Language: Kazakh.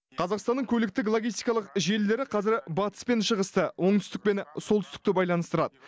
қазақстанның көліктік логистикалық желілері қазір батыс пен шығысты оңтүстік пен солтүстікті байланыстырады